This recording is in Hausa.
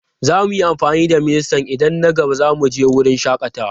Za mu yi amfani da ministan idan na gaba za mu je wurin shakatawa.